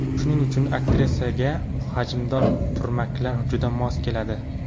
Shuning uchun aktrisaga hajmdor turmaklar juda mos keladi.